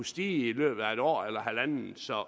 stige i løbet af et år eller halvandet så